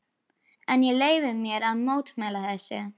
Það var nú meira sem barnið ætlaði að geta lifað.